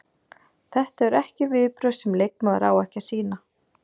Þetta eru viðbrögð sem leikmaður á ekki að sýna.